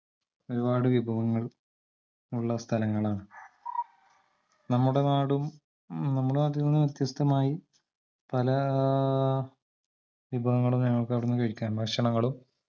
ഒരുപാട് വിഭവങ്ങൾ ഉള്ള സ്ഥലങ്ങളാണ് നമ്മുടെ നാടും നമ്മടെനാട്ടിന്ന് വ്യത്യസ്തമായി പലാ ആഹ് വിഭവങ്ങളും ഞങ്ങക്ക് അവടന്ന് കഴിക്കാ ഭക്ഷണങ്ങളും